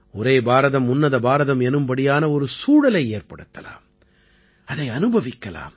ஒரே பாரதம் உன்னத பாரதம் எனும்படியான ஒரு சூழலை ஏற்படுத்தலாம் அதை அனுபவிக்கலாம்